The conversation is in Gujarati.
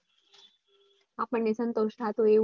આપને સંતોષ થાતો હોય